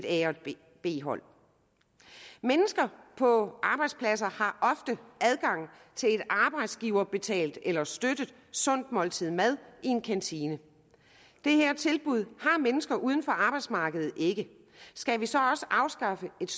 et a og et b hold mennesker på arbejdspladser har ofte adgang til et arbejdsgiverbetalt eller støttet sundt måltid mad i en kantine det her tilbud har mennesker uden for arbejdsmarkedet ikke skal vi så også afskaffe et